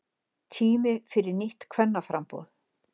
Tími fyrir nýtt kvennaframboð